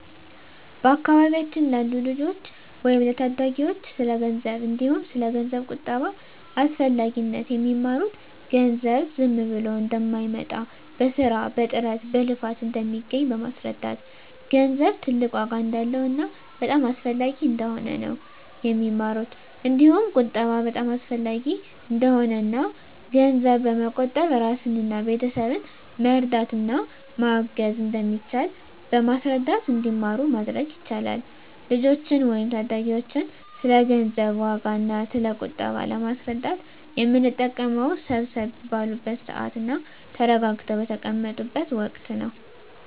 በአካባቢያችን ላሉ ልጆች ወይም ለታዳጊዎች ስለ ገንዘብ እንዲሁም ስለ ገንዘብ ቁጠባ አስፈላጊነት የሚማሩት ገንዘብ ዝም ብሎ እንደማይመጣ በስራ በጥረት በልፋት እንደሚገኝ በማስረዳት ገንዘብ ትልቅ ዋጋ እንዳለውና በጣም አስፈላጊ እንደሆነ ነው የሚማሩት እንዲሁም ቁጠባ በጣም አሰፈላጊ እንደሆነና እና ገንዘብ በመቆጠብ እራስንና ቤተሰብን መርዳት እና ማገዝ እንደሚቻል በማስረዳት እንዲማሩ ማድረግ ይቻላል። ልጆችን ወይም ታዳጊዎችን ስለ ገንዘብ ዋጋ እና ስለ ቁጠባ ለማስረዳት የምንጠቀመው ሰብሰብ ባሉበት ስዓት እና ተረጋግተው በተቀመጡት ወቀት ነው።